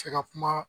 Cɛ ka kuma